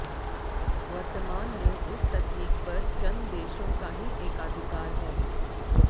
वर्तमान में इस तकनीक पर चंद देशों का ही एकाधिकार है